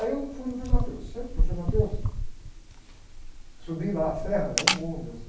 Aí eu fui no frei, chego no frei, subi lá a serra, é um morro mesmo